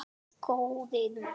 Hver hefði búist við þessu??